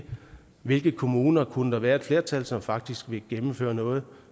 hvilke kommuner der kunne være et flertal som faktisk vil gennemføre noget